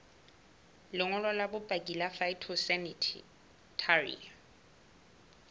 lengolo la bopaki la phytosanitary